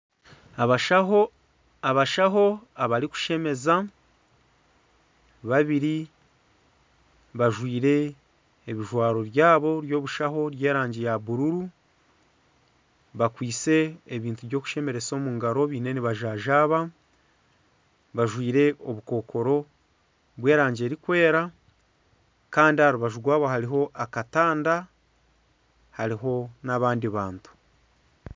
Abashaho abarikushemeza babiri bajwire ebijwaro byabo by'obushaho by'erangi ya bururu bakwaitse ebintu byokushemeresa omungaro baine nibajanjaba bajwire obukokoro bw'erangi erikwera Kandi aha rubaju rwabo hariho akatanda hariho n'abandi bantu.